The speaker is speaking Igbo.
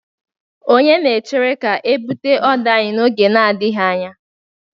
Onye na-echere ga-ebute oder anyị n'oge adịghị anya